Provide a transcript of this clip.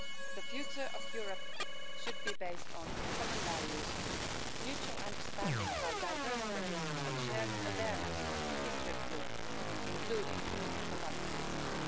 The future of Europe should be based on common values, mutual understanding of our diverse traditions, and shared awareness of the history of Europe, including totalitarianism.